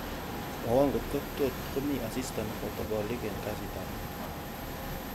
mwowon kotko tot komi asista nemoboto bolik en kasit ab muut